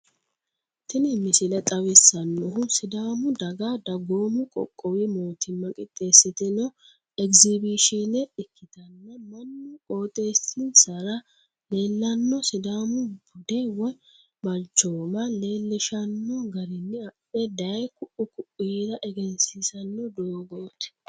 tini misile xawissannohu sidaamu daga dagoomu qoqqowu mootimma qixxessitino egizibishine ikkitana, mannu qooxxeessissara leellanno sidaamu bude woy balchooma leellishshanno garinni adhe daye ku'u ku'ira egensiisanno doogooti.